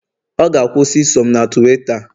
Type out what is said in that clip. ọ ga- akwusi iso m na Tuweeta